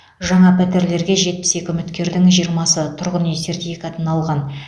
жаңа пәтерлерге жетпіс екі үміткердің жиырмасы тұрғын үй сертификатын алған